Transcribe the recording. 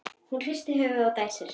Hún hristir höfuðið og dæsir.